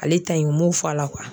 Ale ta in u m'o fɔ a la